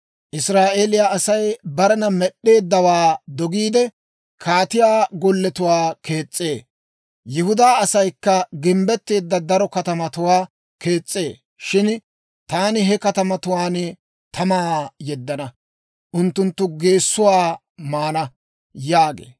Israa'eeliyaa Asay barena Med'd'eeddawaa dogiide, kaatiyaa golletuwaa kees's'ee; Yihudaa asaykka gimbbetteedda daro katamatuwaa kees's'ee. Shin taani he katamatuwaan tamaa yeddana; unttunttu geessotuwaa maana» yaagee.